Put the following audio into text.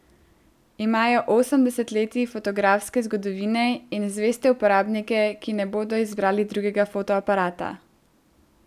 Imajo osem desetletij fotografske zgodovine in zveste uporabnike, ki ne bodo izbrali drugega fotoaparata.